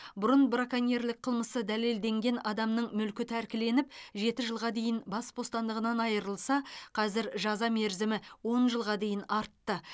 бұрын браконьерлік қылмысы дәлелденген адамның мүлкі тәркіленіп жеті жылға дейін бас бостандығынан айырылса қазір жаза мерзімі он жылға дейін артты